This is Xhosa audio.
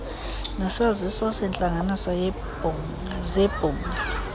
nesaziso seentlanganiso zebhunga